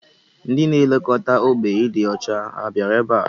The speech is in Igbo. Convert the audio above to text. Ndị na-elekọta ógbè ịdị ọcha ha bịara ebe a?